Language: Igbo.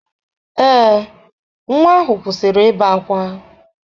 Ee, nwa ahụ kwụsịrị ibe ákwá.